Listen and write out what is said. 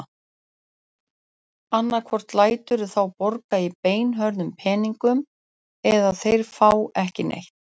Annaðhvort læturðu þá borga í beinhörðum peningum eða þeir fá ekki neitt.